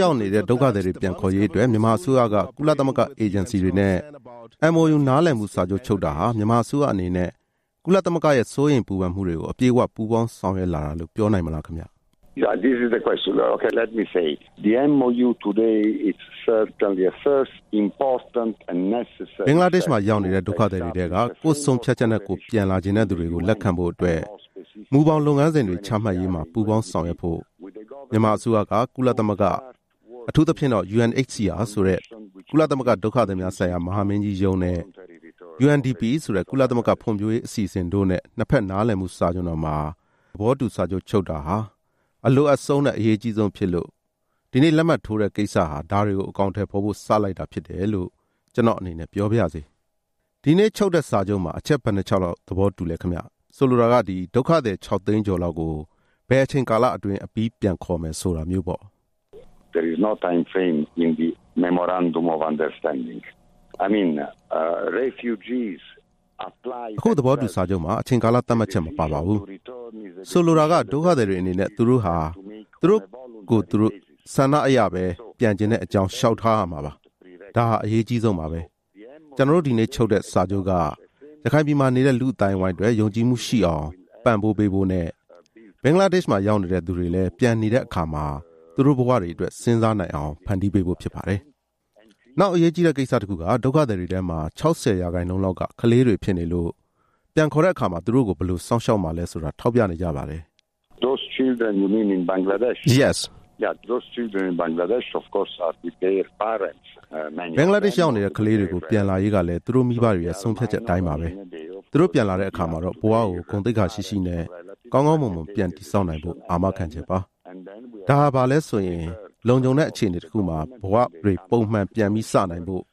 ရောက်နေတဲ့ ဒုက္ခသည်တွေပြန်ခေါ်ရေးအတွက် မြန်မာအစိုးရက ကုလသမဂ္ဂ အေဂျင်စီတွေနဲ့ MOU နားလည်မှုစာချုပ်ချုပ်တာဟာ မြန်မာအစိုးရအနေနဲ့ ကုလသမဂ္ဂရဲ့စိုးရိမ်ပူပန်မှုတွေကို အပြည့်အဝ ပူးပေါင်းဆောင်ရွက်လာတာလို့ပြောနိုင်မလား။ ဘင်္ဂလားဒေ့ရှ်မှာရောက်နေတဲ့ ဒုက္ခသည်တွေထဲက ကိုယ်ဆုံးဖြတ်ချက်နဲ့ ကိုယ်ပြန်လာချင်တဲ့သူတွေကို လက်ခံဖို့အတွက် မူဘောင်လုပ်ငန်းစဉ်ချမှတ်ရေးမှာ ပူးပေါင်းဆောင်ရွက်ဖို့ မြန်မာအစိုးရက ကုလသမဂ္ဂ၊ အထူးသဖြင့် UNHCR ဆိုတဲ့ ကုလသမဂ္ဂဒုက္ခသည်များဆိုင်ရာ မဟာမင်းကြီးရုံးနဲ့ UNDP ဆိုတဲ့ ကုလသမဂ္ဂဖွံ့ဖြိုးရေး အစီအစဉ်တို့နဲ့ နှစ်ဖက်နားလည်မှုစာချွန်တော်မှာ သဘောတူချုပ်ဆိုတာဟာ အလိုအပ်ဆုံးနဲ့ အရေးအကြီးဆုံးဖြစ်လို့ ဒီနေ့လက်မှတ်ထိုးတဲ့ကိစ္စဟာ ဒါတွေကို အကောင်အထည်ဖေါ်ဖို့ စလိုက်တာဖြစ်တယ်လို့ ကျနော့်အနေ နဲ့ပြောပါရစေ။ ဒီနေ့ချုပ်ဆိုတဲ့စာချုပ်မှာ အချက်ဘယ်နှစ်ချက်လောက် သဘောတူလဲ။ ဆိုလိုတာက ဒုက္ခသည် ၆ သိန်းကျော်လောက်ကို ဘယ်အချိန်ကာလလောက်အတွင်း အပြီးပြန်ခေါ်မယ်ဆိုတာမျိုးပေါ့။ အခုသဘောတူစာချုပ်မှာ အချိန်ကာလသတ်မှတ်ချက်မပါပါဘူး။ ဆိုလိုတာက ဒုက္ခသည်တွေအနေနဲ့ သူတို့ဟာသူတို့ ကိုယ့်ဆန္ဒအရပဲ ပြန်ချင်တဲ့အကြောင်းလျှောက်ထားရမှာပါ။ ဒါဟာအရေးအကြီးဆုံးပါပဲ။ ကျနော်တို့ဒီနေ့ချုပ်ဆိုတဲ့စာချုပ်က ရခိုင်ပြည်မှာနေတဲ့ လူ့အသိုင်းအတွက် ယုံကြည်မှုရှိအောင်ပံ့ပိုးပေးဖို့နဲ့ ဘင်္ဂလားဒေ့ရှ်မှာရောက်နေတဲ့သူတွေလည်း ပြန်နေတဲ့အခါ သူတို့ဘဝတွေအတွက် စဉ်းစားနိုင်အောင် ဖန်တီးပေးဖို့ဖြစ်ပါတယ်။ နောက်အရေးကြီးတဲ့ကိစ္စတခုက ဒုက္ခသည်တွေထဲမှာ ၆၀ ရာခိုင်နှုန်းလောက်က ကလေးတွေဖြစ်နေလို့ ပြန်ခေါ်တဲ့အခါ သူတို့ကိုဘယ်လိုစောင့်ရှောက်မှာလဲဆိုတာ ထောက်ပြနေကြပါတယ်။ ဘင်္ဂလားဒေ့ရှ်ရောက်နေတဲ့ကလေးတွေ ပြန်လာရေးကလည်း သူတို့မိဘတွေရဲ့ ဆုံးဖြတ်ချက် အတိုင်းပါပဲ။ သူတို့ပြန်လာတဲ့အခါမှာတော့ ဘဝကို ဂုဏ်သိက္ခာရှိရှိနဲ့ ကောင်းကောင်းမွန်မွန်ပြန် တည်ဆောက်နိုင်ဖို့ အာမခံချက်ပါ။ ဒါဟာဘာလဲဆိုရင် လုံခြုံတဲ့အခြေအနေမှာ ပုံမှန်ဘဝတွေပြန်စနိုင်ဖို့၊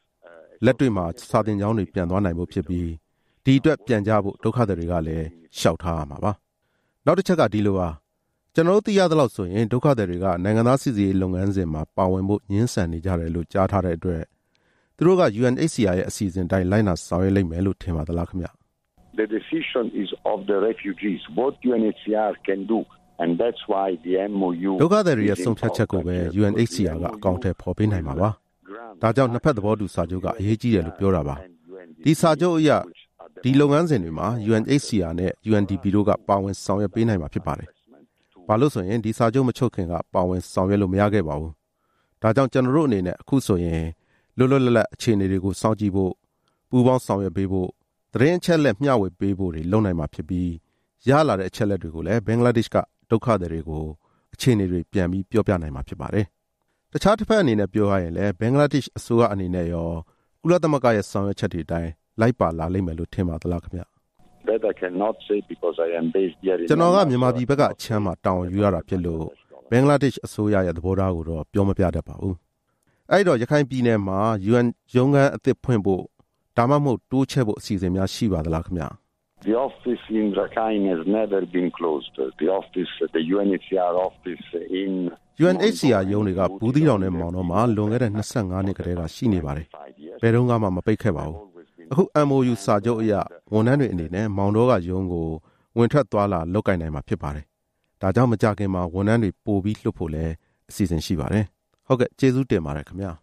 လက်တွေ့မှာ စာသင်ကျောင်းတွေပြန်သွားနိုင်ဖို့ဖြစ်ပြီး၊ ဒီအတွက် ပြန်ကြဖို့ ဒုက္ခသည်တွေက လျှောက်ထားရမှာပါ။ နောက်တချက်ကဒီလိုပါ။ ကျနော်တို့သိရသလောက်ဆိုရင် ဒုက္ခသည်တွေက နိုင်ငံသား စိစစ်ရေးလုပ်ငန်းစဉ်မှာ ပါဝင်ဖို့ငြင်းဆန်နေကြတယ်လို့ ကြားထားတဲ့အတွက်၊ သူတို့က UNHCR ရဲ့ အစီအစဉ်အတိုင်း လိုက်နာဆောင်ရွက်လိမ့်မယ်လို့ ထင်ပါသလား။ ဒုက္ခသည်တွေရဲ့ ဆုံးဖြတ်ချက်ကိုပဲ UNHCR က အကောင်အထည်ဖေါ်ပေးနိုင်မှာပါ။ ဒါကြောင့် နှစ်ဖက်သဘောတူစာချုပ်က အရေးကြီးတယ်လို့ပြောတာပါ။ အဲဒီစာချုပ်အရ ဒီလုပ်ငန်းစဉ် တွေမှာ UNHCR နဲ့ UNDP တို့က ပါဝင်ဆောင်ရွက်ပေးနိုင်မှာဖြစ်ပါတယ်။ ဘာလို့ဆိုရင် ဒီစာချုပ် မချုပ်ခင်က ပါဝင်ဆောင်ရွက်လို့ မရခဲ့ပါဘူး။ ဒါကြောင့် ကျနော်တို့အနေနဲ့ အခုဆိုရင် လွတ်လွတ်လပ်လပ် အခြေအနေကိုစောင့်ကြည့်ဖို့၊ ပူးပေါင်းဆောင်ရွက်ပေးဖို့၊ သတင်းအချက်အလက် မျှဝေပေးဖို့တွေလုပ်နိုင်မှာဖြစ်ပြီး၊ ရလာတဲ့အချက်အလက်တွေ ကိုလည်း ဘင်္ဂလားဒေ့ရှ်ကဒုက္ခသည်တွေကို အခြေအနေတွေပြောပြနိုင်မှာဖြစ်ပါတယ်။ တခြားတဘက်အနေနဲ့ပြောရရင်လည်း၊ ဘင်္ဂလားဒေ့ရှ်အစိုးရအနေနဲ့ ကုလသမဂ္ဂရဲ့ဆောင်ရွက်ချက်တွေ အတိုင်း လိုက်ပါလာလိမ့်မယ်လို့ထင်ပါသလား။ ကျနော်က မြန်မာပြည်ဘက်အခြမ်းမှာ တာဝန်ယူရတာဖြစ်လို့ ဘင်္ဂလားဒေ့ရှ်အစိုးရရဲ့ သဘောထားကိုတော့ ပြောမပြတတ်ပါဘူး။ သြော်၊ ဟုတ်ကဲ့။ အဲဒီတော့ ရခိုင်ပြည်နယ်မှာ UN ရုံးခန်းသစ်ဖွင့်ဖို့၊ ဒါမှမဟုတ် တိုးချဲ့ဖို့အစီအစဉ်များရှိပါသလား။ UNHCR ရုံးတွေက ဘူးသီးတောင်နဲ့မောင်တောမှာ လွန်ခဲ့တဲ့ ၂၅ နှစ်ကတည်းက ရှိနေပါတယ်။ ဘယ်တုန်းကမှ မပိတ်ခဲ့ပါဘူး။ အခု MOU စာချုပ်အရ ဝန်ထမ်းတွေအနေနဲ့ မောင်တောက ရုံးကို ဝင်ထွက်သွားလာနိုင်မှာဖြစ်ပါတယ်။ ဒါကြောင့် မကြာခင်မှာ ဝန်ထမ်းတွေ ပိုပြီးလွှတ်ဖို့လည်း အစီအစဉ်ရှိပါတယ်။ ဟုတ်ကဲ့။ ကျေးဇူးတင်ပါတယ်ခင်ဗျာ။